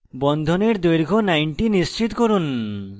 বন্ধনের দৈর্ঘ্য 90 নিশ্চিত করুন